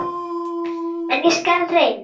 En ég skal reyna.